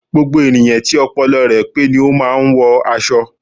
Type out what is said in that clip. Gbogbo ènìyàn tí ọpọlọ rẹ pé ni o máà ń wọ aṣọ